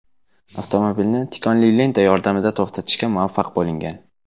Avtomobilni tikonli lenta yordamida to‘xtatishga muvaffaq bo‘lingan.